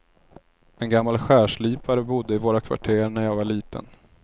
En gammal skärslipare bodde i våra kvarter när jag var liten.